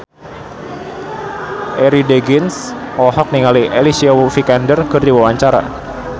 Arie Daginks olohok ningali Alicia Vikander keur diwawancara